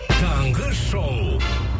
таңғы шоу